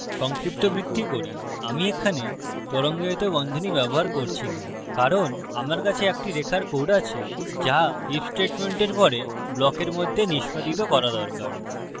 সংক্ষিপ্তবৃত্তি করি আমি এখানে তরঙ্গায়িত বন্ধনী ব্যবহার করছি না কারণ আমার কাছে একটি রেখার code আছে যা if স্টেটমেন্টের পরে ব্লকের মধ্যে নিস্পাদিত করা দরকার